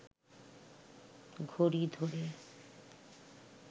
ঘড়ি ধরে